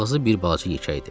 Ağzı bir balaca yekə idi.